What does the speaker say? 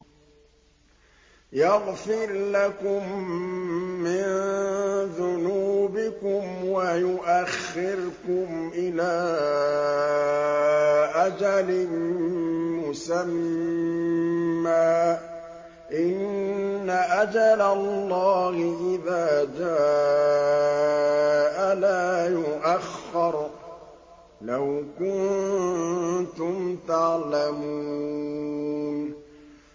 يَغْفِرْ لَكُم مِّن ذُنُوبِكُمْ وَيُؤَخِّرْكُمْ إِلَىٰ أَجَلٍ مُّسَمًّى ۚ إِنَّ أَجَلَ اللَّهِ إِذَا جَاءَ لَا يُؤَخَّرُ ۖ لَوْ كُنتُمْ تَعْلَمُونَ